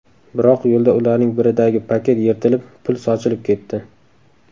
Biroq yo‘lda ularning biridagi paket yirtilib, pul sochilib ketdi.